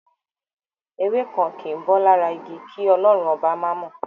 Ewé kan kìí bọ́ lára igi, kí Ọlọ́run Ọba má mọ̀.